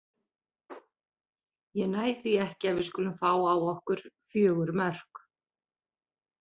Ég næ því ekki að við skulum fá á okkur fjögur mörk.